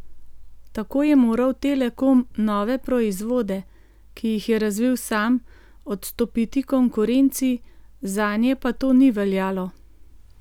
Tako je moral Telekom nove proizvode, ki jih je razvil sam, odstopiti konkurenci, zanje pa to ni veljalo.